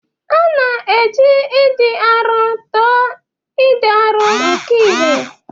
A na-eji ịdị arọ tụọ ịdị arọ nke ihe.